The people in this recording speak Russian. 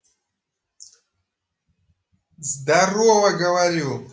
здарова говорю